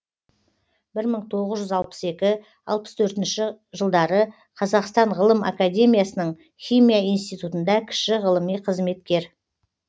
бір мың тоғыз жүз алпыс екі алпыс төртінші қазақстан ғылым академиясының химия институтында кіші ғылыми қызметкер